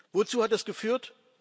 Wozu hat das geführt?